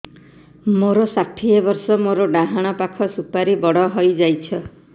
ମୋର ଷାଠିଏ ବର୍ଷ ମୋର ଡାହାଣ ପାଖ ସୁପାରୀ ବଡ ହୈ ଯାଇଛ